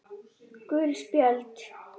Gul spjöld